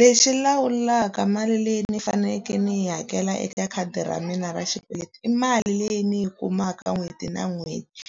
Lexi lawulaka mali leyi ni faneleke ni yi hakela eka khadi ra mina ra xikweleti i mali leyi ndzi yi kumaka n'hweti na n'hweti,